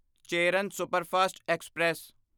Cheran superfast express